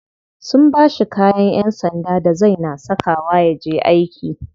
Sun bashi kayan yan sanda da zai na saka wa yaje aiki.